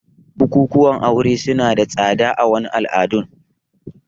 Bukukuwan aure suna da tsada a wasu al'adun